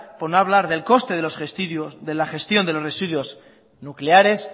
por no hablar del coste de la gestión de los residuos nucleares